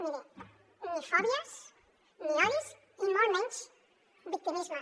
miri ni fòbies ni odis i molt menys victimisme